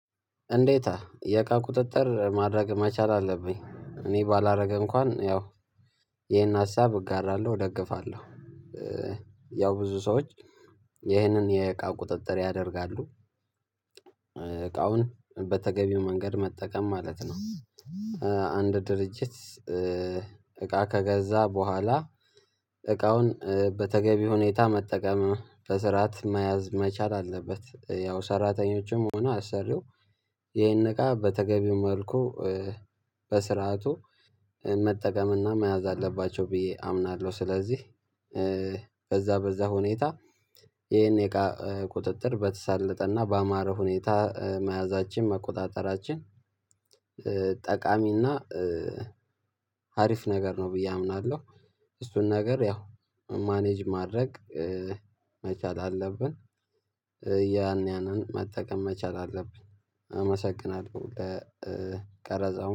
እንዴት የቃ ቁጥጥር ማድረግ መቻል አለብኝ እኔ ባላደርግ እንኳን ያው ይሄን ሀሳብ እጋራለሁ እደግፋለሁ። ያው ብዙ ሰዎች ይሄንን የእቃ ቁጥጥር ያደርጋሉ። እቃውን በተገቢው መንገድ መጠቀም ማለት ነው። አንድ ድርጅት እቃ ከገዛ በኋላ እቃውን በተገቢ ሁኔታ መጠቀም በስርዓት መያዝ መቻል አለበት። ያው ሰራተኞችም ሆነ አሰሪው ይሄን ነገር በተገቢው መልኩ በስርዓቱ መጠቀምና መያዝ አለባቸው ብዬ አምናለሁ። ስለዚህ በዛ በዛ ሁኔታ ይሄን የእቃ ቁጥጥር በተሳለጠ እና በአማረ ሁኔታ መያዛችን መቆጣጠራችን ጠቃሚ እና አሪፍ ነገር ነው ብዬ አምናለሁ። እሱን ነገር ያው ማኔጅ ማድረግ መቻል አለብን። ያን ያንን መጠቀም መቻል አለብን አመሰግናለሁ። ቀረጻው